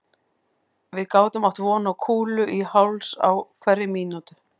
Við gátum átt von á kúlu í háls á hverri mín